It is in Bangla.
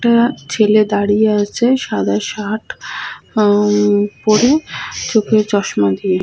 একটা ছেলে দাঁড়িয়ে আছে সাদা শার্ট পরে উমমমম আ পরে চোখে চশমা দিয়ে ।